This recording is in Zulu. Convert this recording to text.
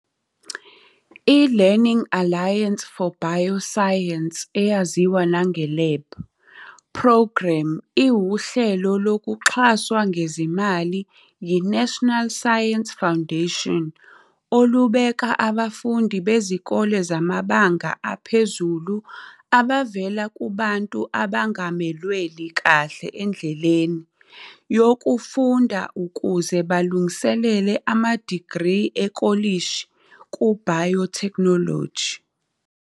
I-Learning Alliance for Bioscience eyaziwa na nge-LAB, Programme iwuhlelo oluxhaswa ngezimali yiNational Science Foundation olubeka abafundi bezikole zamabanga aphezulu abavela kubantu abangamelweli kahle endleleni yokufunda ukuze balungiselele amadigri ekolishi ku-biotechnology.